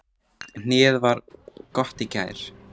Hnéð var mjög gott í gær.